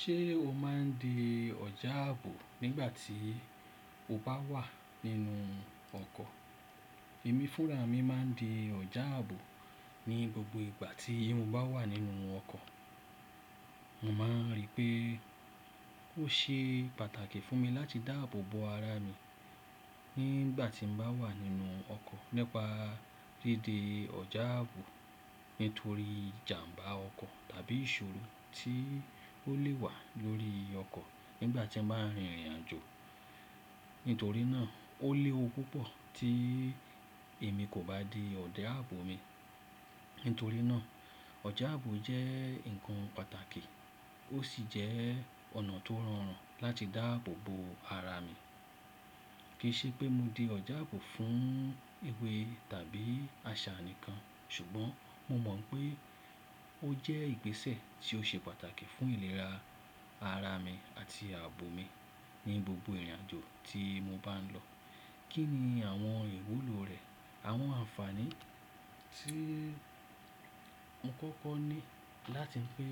Ṣé o máa ń di ọjà ààbò nígbà tí o bá wà nínú ọkọ̀? Èmi fúnra mi máa ń di ọjà ààbò ní gbogbo ìgbà tí mo bá wà nínú ọkọ̀. Mo máa rí pé ó ṣe pàtàkì fún mi láti dá ààbò bo ara mi nígbà tí mo bá wà nínú ọkọ̀. Nípa dídi ọjà ààbò nítorí ìjàmbá ọkọ̀ tàbí ìṣòro tí ó lè wà lórí ọkọ̀ nígbà tí a máa ń rìnrìn àjò. Nítorí náà ó léwu púpọ̀ tí èmi kò bá dé ọjà ààbò mi. Nítorí náà ọjà ààbò jẹ́ nǹkan pàtàkì ó sì jẹ́ ọ̀nà tó rọrùn láti dá ààbò bo ara mi. Kì í ṣe pé mo di ọjà ààbò fún ewé tàbí àṣà nìkan ṣùgbọ́n mo mọ̀ pé ó jẹ́ ìgbésẹ̀ tí ó ṣe pàtàkì fún ìlera ara mi àti ààbò mi ní gbogbo ìrìnàjò tí mo bá ń lọ. Kí ni àwọn ìwúlò rẹ̀? Àwọn àǹfààní tí mo kọ́kọ́ ní láti pé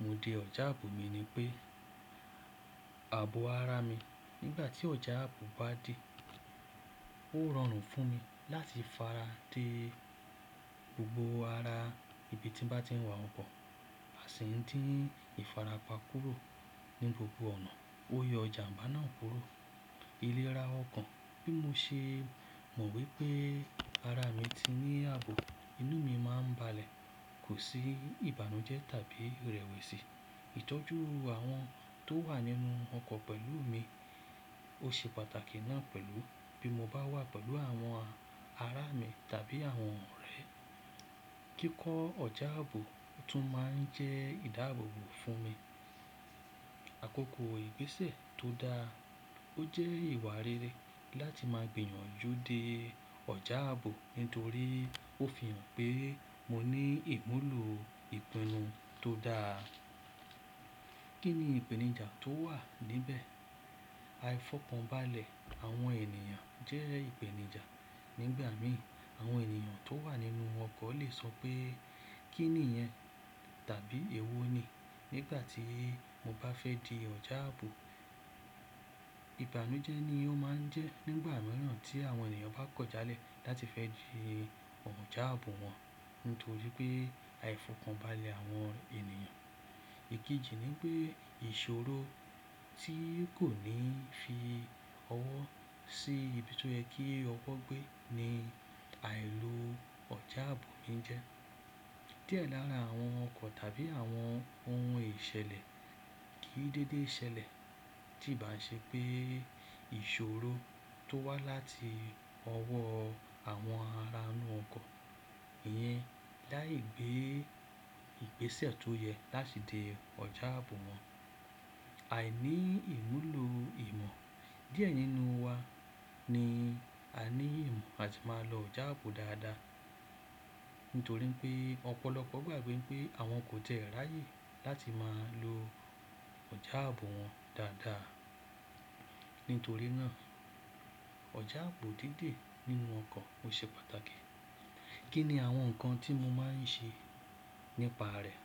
mo dé ọjà ààbò mi ni pé ààbò ara mi nígbà tí ọjà ààbò bá dé, ó rọrùn fún mi láti fara de gbogbo ara ibi tí mo bá ti ń wa ọkọ̀, a sì ń dí ìfarapa kúrò ní gbogbo ọ̀nà. Ó yọ ìjàmbá náà kúrò. Ìlera ọkàn bí mo ṣe mọ̀ wípé ara mi ti ní ààbò, inú mi máa ń balẹ̀, kò sí ìbànújẹ́ tàbí ìrẹ̀wẹ̀sì. Ìtọ́jú àwọn tó wà nínú ọkọ̀ pẹ̀lú mi ó ṣe pàtàkì náà pẹ̀lú bí mo bá wà pẹ̀lú àwọn ará mi tàbí àwọn ọ̀rẹ́. Kíkọ ọjà ààbò tún máa ń jẹ́ ìdáàbò bo fún mi. Àkókò ìgbésẹ̀ tó dáa. Ó jẹ́ ìwà rere láti máa gbìyànjú déè ọjà ààbò nítorí ó fi hàn pé mo ní ìmúlò ìpinnu tó dáa. Kí ni ìpèníjà tó wà níbẹ̀? Àìfọ̀kànbalẹ̀ àwọn ènìyàn jẹ́ ìpèníjà. Nígbà mìíràn àwọn ènìyàn tó wà nínú ọkọ̀ lè sọ pé kí nìyẹn tàbí èwo ni nígbà tí mo bá fẹ́ di ọjà ààbò. Ìbànújẹ́ ni ó máa ń jẹ́ nígbà mìíràn tí àwọn ènìyàn bá kọ̀ jálẹ̀ láti fẹ́ di ọjà ààbò wọn nítorí pé àìfọ̀kànbalẹ̀ àwọn ènìyàn. Èkejì ni pé ìṣòro tí kò ní fi ọwọ́ sí ibi tó yẹ kí ọwọ́ gbé ni àìló ọjà ààbò mi ń jẹ́. Díẹ̀ lára àwọn ọkọ̀ tàbí àwọn ohun ìṣẹ̀lẹ̀ kì í dédé ṣẹlẹ̀ tí ìbá ṣe pé ìṣòro tó wá láti ọwọ́ àwọn aranu ọkọ̀ yẹn láì gbé ìgbésẹ̀ tó yẹ láti di ọjà ààbò wọn. Aìní ìmúlò ìmọ̀ díẹ̀ nínú wa ni a ní ìmọ̀ àti máa lo ọjà ààbò dáadáa. Nítorí pé ọ̀pọ̀lọpọ̀ gbàgbé pé àwọn kò tiẹ́ rá yé láti máa lo ọjà ààbò wọn dáadáa. Nítorí náà ọjà ààbò dídè nínú ọkọ̀ ó ṣe pàtàkì. Kí ni àwọn nǹkan tí mo máa ń ṣe nípa rẹ̀?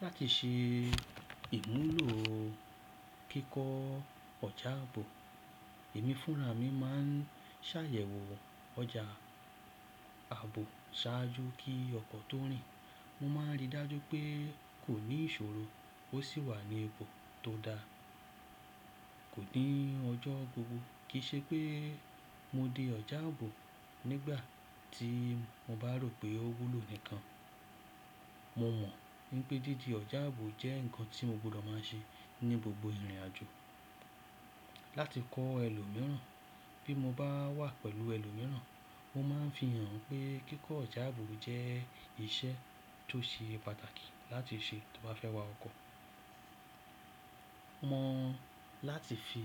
Láti ṣe ìmúlò kíkọ ọjà ààbò, èmi fúnra mi máa ń ṣàyẹ̀wò ọjà ààbò ṣáájú kí ọkọ̀ tó rìn. Mo máa ń ríi dájú pé kò ní ìṣòro ó sì wà ní ipo tó da. Kò ní ọjọ́ gbogbo kì í ṣe pé mo dé ọjà ààbò nígbà tí mo bá rò pé ó wúlò nìkan. Mo mọ̀ wípé dídé ọjà ààbò jẹ́ ǹkan tí mo gbọdọ̀ máa ń ṣe ní gbogbo ìrìnàjò. Láti kọ́ ẹlòmíràn bí mo bá wà pẹ̀lú ẹlòmíràn mo máa ń fi hàn pé kíkọ ọjà ààbò jẹ́ ìṣe tó ṣe pàtàkì láti ṣe tí wọ́n bá fẹ́ wa ọkọ̀. Mọ̀ láti fi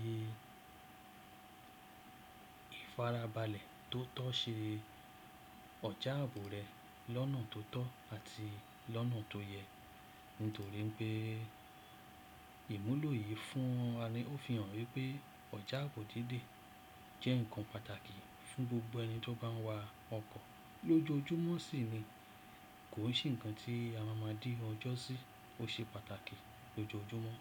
ìfarabalẹ̀ tó tọ́ ṣe ọjà ààbò rẹ lọ́nà tó tọ́ àti lọ́nà tó yẹ. Nítorí pé ìmúlò yìí fún wa ni ó fi hàn wípé ọjà ààbò dídè jẹ́ ǹkan pàtàkì fún gbogbo ẹni tó bá ń wa ọkọ̀ lójoojúmọ́ sì ni kò sì ǹkan tí a máa ma dí ọjọ́ sí. Ó ṣe pàtàkì lójoojúmọ́.